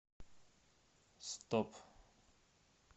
стоп